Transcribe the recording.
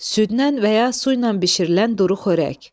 Süddən və ya su ilə bişirilən duru xörək.